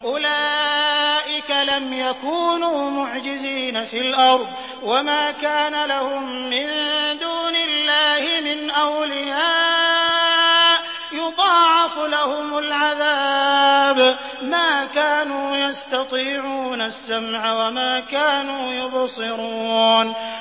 أُولَٰئِكَ لَمْ يَكُونُوا مُعْجِزِينَ فِي الْأَرْضِ وَمَا كَانَ لَهُم مِّن دُونِ اللَّهِ مِنْ أَوْلِيَاءَ ۘ يُضَاعَفُ لَهُمُ الْعَذَابُ ۚ مَا كَانُوا يَسْتَطِيعُونَ السَّمْعَ وَمَا كَانُوا يُبْصِرُونَ